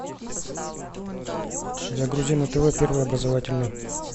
загрузи на тв первый образовательный